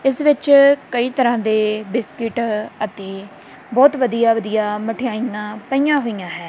ਇਸ ਵਿੱਚ ਕਈ ਤਰ੍ਹਾਂ ਦੇ ਬਿਸਕਿਟ ਅਤੇ ਬਹੁਤ ਵਧੀਆ ਵਧੀਆ ਮਠਿਆਈਆਂ ਪਈਆਂ ਹੋਈਆਂ ਹੈ।